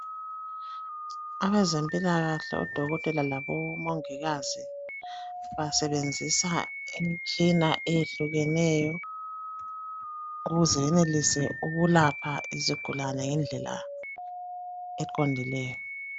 Abezempilakahle odokotela labo mongikazi basebenzisa imitshina eyehlukeneyo ukuze benelise ukulapha izigulane ngendlela eqondileyo.